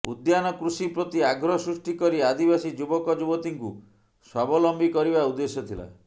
ଉଦ୍ୟାନ କୃଷି ପ୍ରତି ଆଗ୍ରହ ସୃଷ୍ଟି କରି ଆଦିବାସୀ ଯୁବକ ଯୁବତୀଙ୍କୁ ସ୍ବାବଲମ୍ବୀ କରିବା ଉଦ୍ଦେଶ୍ୟ ଥିଲା